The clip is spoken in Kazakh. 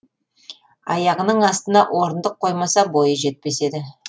аяғының астына орындық қоймаса бойы жетпес еді